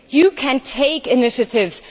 You can take initiatives.